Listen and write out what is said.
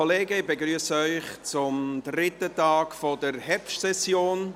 (Ich begrüsse Sie zum dritten Tag der Herbstsession.